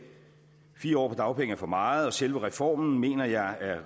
fire år på dagpenge er for meget og selve reformen mener jeg